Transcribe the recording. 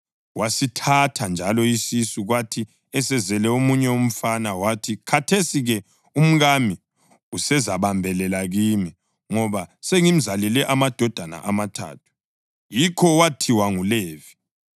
Wasithatha njalo isisu, kwathi esezele omunye umfana wathi, “Khathesi-ke umkami usezabambelela kimi ngoba sengimzalele amadodana amathathu.” Yikho wathiwa nguLevi.